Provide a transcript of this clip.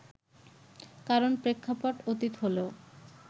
কারণ প্রেক্ষাপট অতীত হলেও